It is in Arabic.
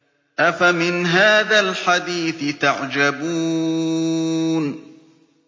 أَفَمِنْ هَٰذَا الْحَدِيثِ تَعْجَبُونَ